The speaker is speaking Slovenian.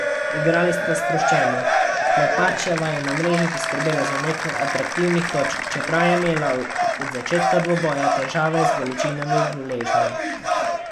Igrali sta sproščeno, Klepačeva je na mreži poskrbela za nekaj atraktivnih točk, čeprav je imela od začetka dvoboja težave z bolečinami v gležnju.